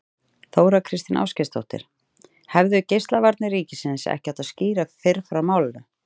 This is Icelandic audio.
Þóra Kristín Ásgeirsdóttir: Hefðu Geislavarnir ríkisins ekki átt að skýra fyrr frá málinu?